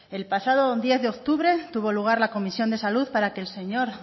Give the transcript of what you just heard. el pasado diez de octubre tuvo lugar la comisión de salud para que el señor